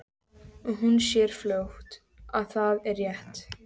Og hún sér fljótt að það er rétt.